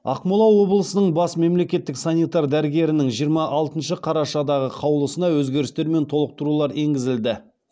ақмола облысының бас мемлекеттік санитар дәрігерінің жиырма алтыншы қарашадағы қаулысына өзгерістер мен толықтырулар енгізілді